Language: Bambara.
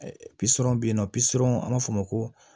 Pisɔn bɛ yen nɔ pisɔn an b'a fɔ o ma ko